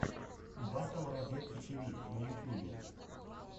батл разетки тиви на ютюбе